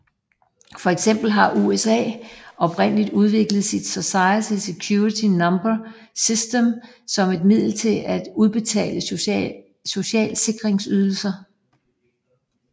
For eksempel har USA oprindeligt udviklet sit Social Security Number system som et middel til at udbetale social sikrings ydelser